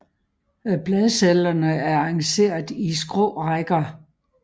Bladcellerne er arrangeret i skrå rækker